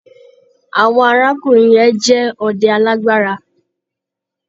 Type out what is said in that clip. Àwọn arákùnrin yẹn jẹ́ ọdẹ alágbára.